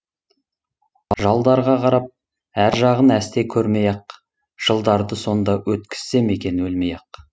жалдарға қарап әр жағын әсте көрмей ақ жылдарды сонда өткізсем екен өлмей ақ